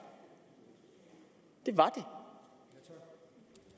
det var det